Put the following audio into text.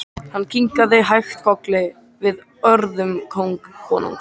Hann kinkaði hægt kolli við orðum konungs.